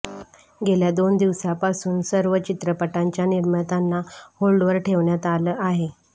गेल्या दोन दिवसांपासून सर्व चित्रपटांच्या निर्मात्यांना होल्डवर ठेवण्यात आलं आहे